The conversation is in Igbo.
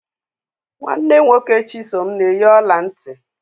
Nwanne nwoke Chisom na eyi ọla nti.